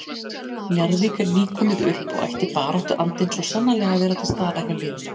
Njarðvík er nýkomið upp og ætti baráttuandinn svo sannarlega að vera til staðar hjá liðinu.